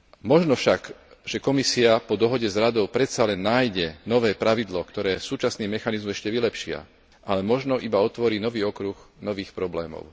Možno však, že Komisia po dohode s Radou predsa len nájde nové pravidlo, ktoré súčasný mechanizmu ešte vylepší, ale možno iba otvorí nový okruh nových problémov.